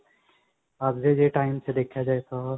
ਅੱਜ ਦੇ time ਚ ਦੇਖਿਆ ਜਾਵੇ ਤਾਂ